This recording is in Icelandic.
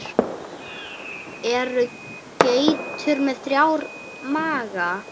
Eru geitur með þrjá maga?